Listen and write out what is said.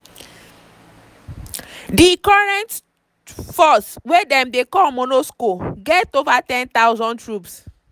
di current force – wey dem dey call monusco – get ova 10000 troops.